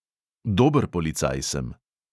Dober policaj sem.